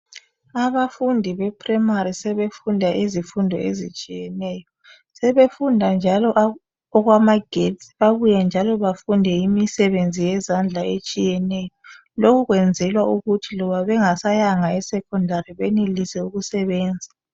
Abafundi bePrimary sebefunda izifundo ezitshiyeneyo. Sebefunda njalo okwamagetsi babuye njalo bafunde imisebenzi yezandla etshiyeneyo, lokhu kwenzelwa ukuthi loba bengasayanga eSecondary benelise ukusebenza.